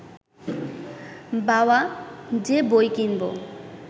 বাওয়া, যে বই কিনব